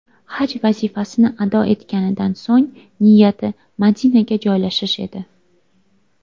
Haj vazifasini ado etganidan so‘ng niyati Madinaga joylashish edi.